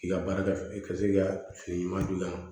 K'i ka baarakɛ i ka se k'i ka fini madon